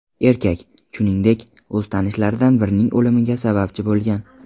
Erkak, shuningdek, o‘z tanishlaridan birining o‘limiga sababchi bo‘lgan.